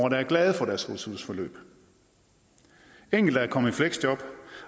der er glade for deres ressourceforløb enkelte er kommet i fleksjob